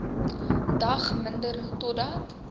dag minder totdat